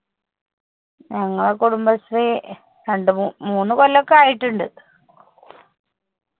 ഞങ്ങളെ കുടുംബശ്രീ രണ്ട്‌ മൂ മൂന്ന് കൊല്ലോക്കെ ആയിട്ടിണ്ട്